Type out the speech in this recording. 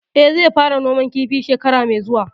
Eh, zai fara noman kifi shekara mai zuwa